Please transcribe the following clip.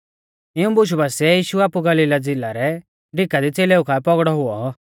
इऊं बुशु बासिऐ यीशु आपु गलीला झ़िला रै डिका दी च़ेलेऊ काऐ पौगड़ौ हुऔ